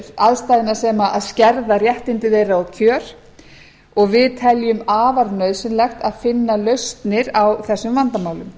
aðstæðna sem skerða réttindi þeirra og kjör og við teljum afar nauðsynlegt að finna lausnir á þessum vandamálum